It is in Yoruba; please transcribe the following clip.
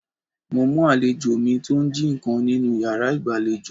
Mo mú àlejò mi tó ń jí ǹkan nínú yàrá ìgbàlejò.